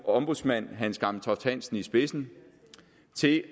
ombudsmand hans gammeltoft hansen i spidsen til